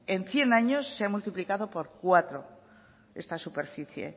en cien años se ha multiplicado por cuatro esta superficie